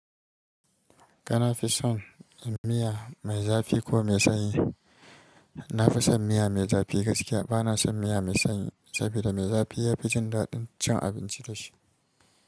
Kana fison miya mai zafi ko mai sanyi? Na fi son miya mai zafi gaskiya. Bana son miya mai sanyi saboda mai zafi yafi jin daɗin cin abinci dashi.